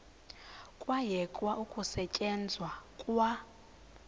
kwayekwa ukusetyenzwa kwa